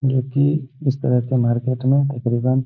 जो की इस तरह के मार्केट मे तकरीबन --